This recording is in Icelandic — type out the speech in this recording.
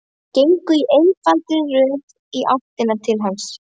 Þær gengu í einfaldri röð í áttina til hans.